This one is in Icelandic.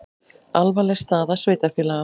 Alvarleg staða sveitarfélaga